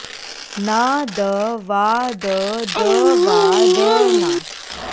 ना द वा द द वा द ना